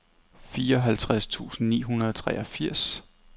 fireoghalvtreds tusind ni hundrede og treogfirs